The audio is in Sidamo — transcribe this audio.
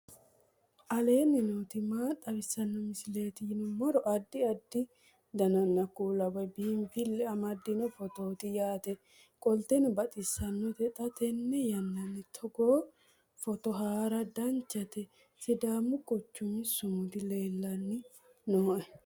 aleenni nooti maa xawisanno misileeti yinummoro addi addi dananna kuula woy biinfille amaddino footooti yaate qoltenno baxissannote xa tenne yannanni togoo footo haara danchate sidaamu quchumi sumudi leellani nooe